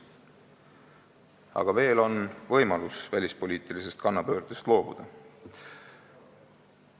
Aga veel on võimalus välispoliitilisest kannapöördest loobuda.